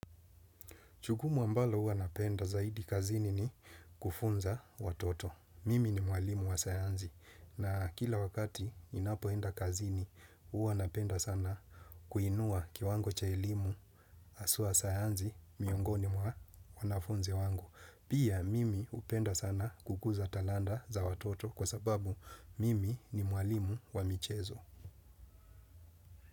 Jukumu ambalo huwanapenda zaidi kazini ni kufunza watoto. Mimi ni mwalimu wa sayanzi na kila wakati ninapoenda kazini huwanapenda sana kuinua kiwango cha elimu haswa sayanzi miongoni mwa wanafunzi wangu. Pia mimi hupenda sana kukuza talanta za watoto kwa sababu mimi ni mwalimu wa michezo.